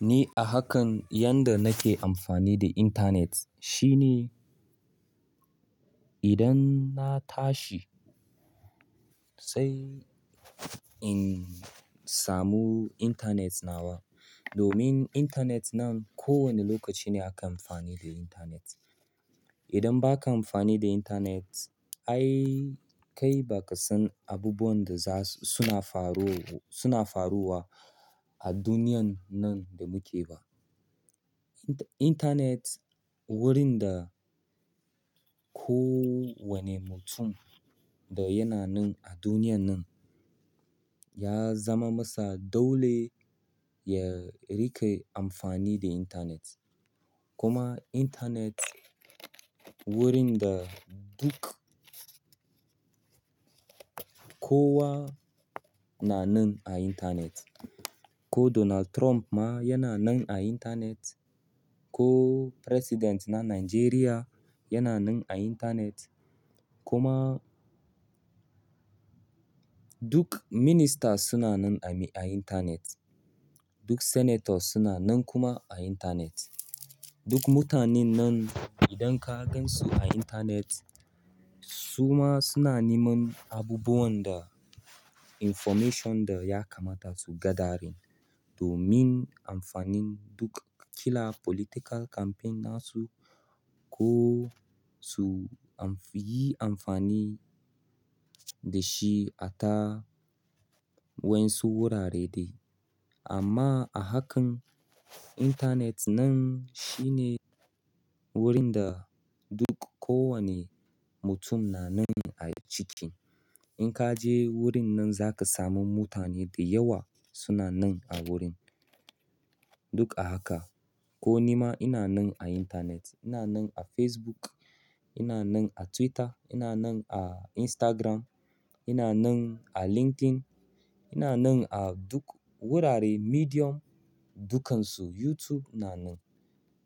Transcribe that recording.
Ni a hakan yanda nake amfani da intanet shine idan na tashi sai in samu intanet nawa. Domin intanet nan kowane lokaci ne aka amfani da intanet. Idan ba ka amfani da intanet, ai kai ba ka san abubuwan da suna faruwa a duniyan nan da muke ba. Intanet wurin da ko wane mutum da yana nan a duniyan nan ya zama masa dole ya riƙe amfani da intanet. Kuma intanet wurin da duk kowa na nan a intanet. Ko Donald Trump ma yana nan a intanet, ko president na Nigeria yana nan a intanet kuma duk minister suna nan a intanet. Duk senator suna nan kuma a intanet. Duk mutanen nan idan ka gansu a intanet suma suna neman abubuwan da information da ya kamata su ga da din domin amfanin duk ƙila political campaign ɗin su ko suyi amfani da shi a ta wayan su gurare dai amma a hakan intanet nan shine wurin da duk kowane mutum na nan a ciki. In ka je wurin nan za ka samu mutane da yawa suna nan a wurin. Duk a haka. Ko nima ina nan a intanet, ina nan a Facebook, ina nan a Twitter, ina nan a Instagram, ina nan a LinkedIn, ina nan a duk wurare medium dukansu YouTube ina nan.